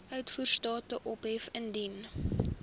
uitvoerstatus ophef indien